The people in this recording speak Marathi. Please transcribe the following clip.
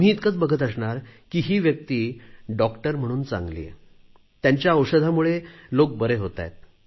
तुम्ही इतकेच बघत असणार की ही व्यक्ती डॉक्टर म्हणून चांगली आहे त्यांच्या औषधांमुळे लोक बरे होत आहे